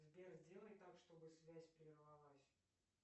сбер сделай так чтобы связь прервалась